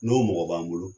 N'o mɔgɔ b'an bolo